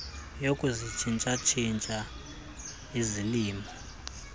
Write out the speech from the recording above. yokuzitshintsha tshintsha izilimo